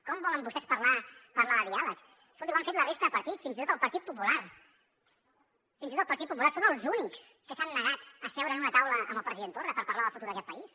com volen vostès parlar de diàleg escoltin ho han fet la resta de partits fins i tot el partit popular fins i tot el partit popular són els únics que s’han negat a seure en una taula amb el president torra per parlar del futur d’aquest país